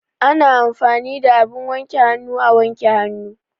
Ana amfani da abin wanke hannu a wanke hannu.